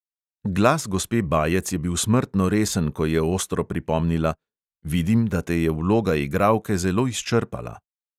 Glas gospe bajec je bil smrtno resen, ko je ostro pripomnila: "vidim, da te je vloga igralke zelo izčrpala."